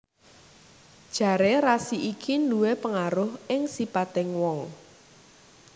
Jaré rasi iki nduwé pengaruh ing sipating wong